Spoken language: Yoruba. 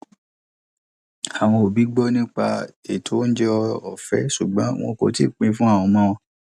àwọn òbí gbọ nípa ètò oúnjẹ ọfẹ ṣùgbọn wọn kò tíì pin fún àwọn ọmọ wọn